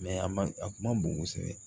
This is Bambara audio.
a ma a kun ma bon kosɛbɛ